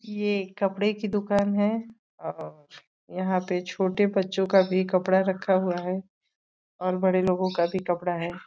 ये कपड़े की दुकान है और यहाँ पे छोटे बच्चों का भी कपड़ा रखा हुआ है और बड़े लोगों का भी कपड़ा है।